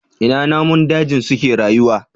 Ina namun daji suke rayuwa?